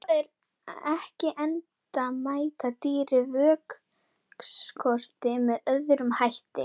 Svo er ekki, enda mæta dýrin vökvaskorti með öðrum hætti.